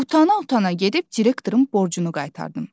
Utana-utana gedib direktorun borcunu qaytardım.